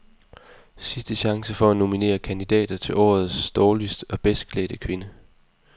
Sidste chance for at nominere kandidater til årets dårligst og bedst klædte kvinde.